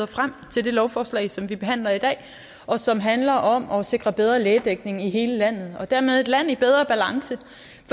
frem til det lovforslag som vi behandler i dag og som handler om at sikre bedre lægedækning i hele landet og dermed et land i bedre balance